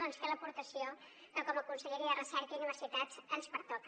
doncs fer l’aportació que com a conselleria de recerca i universitats ens pertoca